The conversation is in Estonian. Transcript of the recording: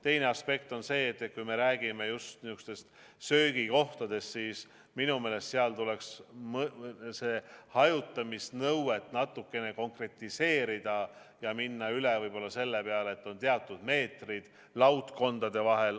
Teine aspekt on see, et kui me räägime söögikohtadest, siis seal tuleks hajutamisnõuet natuke konkretiseerida ja minna üle võib-olla sellele, et on teatud meetrid laudkondade vahel.